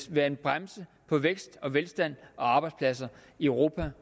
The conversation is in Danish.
være en bremse for vækst og velstand og arbejdspladser i europa